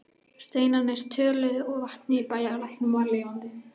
Steinarnir töluðu og vatnið í bæjarlæknum var lifandi.